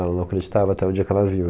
Ela não acreditava até o dia que ela viu.